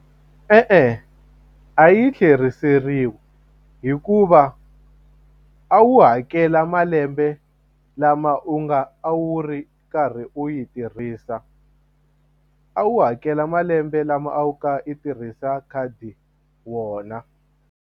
E-e a yi tlheriseriwi hikuva a wu hakela malembe lama u nga a wu ri karhi u yi tirhisa a wu hakela malembe lama a wu kha i tirhisa khadi wona.